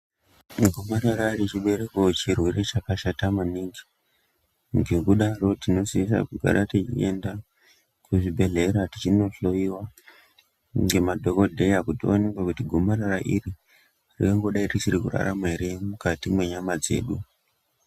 Gomarara rechibereko chirwere chakashata maningi ngekudaro tinosisa kugara teienda kuzvibhedhlera tichinohloiwa ngemadhogodheya. Kuti vaonekekuti gomarara iri ringadai richiri kurarama ere mukati mwenyama dzedu.